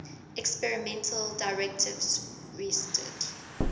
experimental directives rested